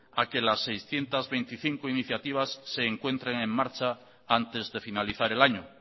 a que las seiscientos veinticinco iniciativas se encuentren en marcha antes de finalizar el año